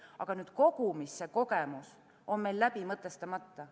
Aga see kogemus on meil läbi mõtestamata.